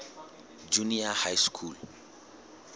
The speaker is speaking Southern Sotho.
junior high school